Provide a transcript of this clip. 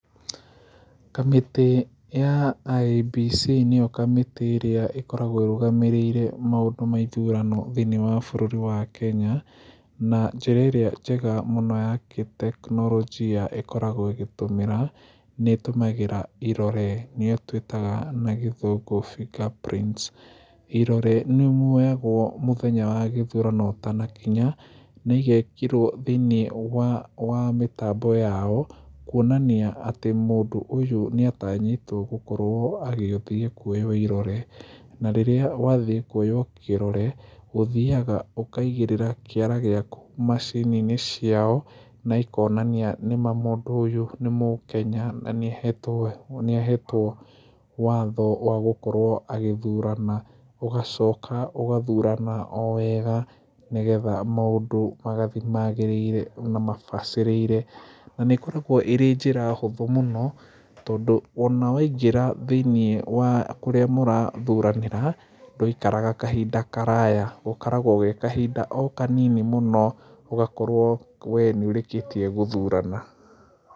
Kamĩtĩ ya IEBC nĩyo kamĩtĩ ĩrĩa ĩkoragwo ĩrũgamĩrĩire maũndũ ma ithurano thĩiniĩ wa bũrũri wa Kenya na njĩra ĩrĩa njega mũno ya gĩteknorojia ĩkoragwo ĩgĩtũmĩra na ĩtũmagĩra irore nĩyo twĩtaga na gĩthũngũ finger prints. Irore nĩ muoyagwo mũthenya wa ithurano ũtanakinya na igekĩrwo thĩiniĩ wa mĩtambo yao kuonania atĩ mũndũ ũyũ nĩ atanyĩtwo gũkorwo agĩthiĩ kuoywo irore na rĩrĩa wathiĩ kuoywo kirore ũthiaga ũkaigĩrĩra kĩara gĩaku maciniinĩ ciao na ikonania nĩma mũndũ ũyũ nĩ mũkenya na nĩ ahetwo watho wa gũkorwo agĩthurana, ũgacoka ũgathurana o wega nĩgetha maũndũ magathiĩ magĩrĩire na mabacĩrĩire na nĩ ĩkoragwo ĩrĩ njĩra hũthũ mũno tondũ ona waingĩra thĩiniĩ wa kũrĩa mũrathuranĩra ,ndũikaraga kahinda karaya gakoragwo ge kahinda o kanini mũno ũgakorwo we nĩ ũrĩkĩtie gũthurana.